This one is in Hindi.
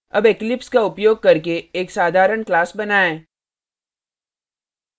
अब eclipse का उपयोग करके एक साधारण class बनाएँ